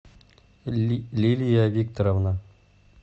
лилия викторовна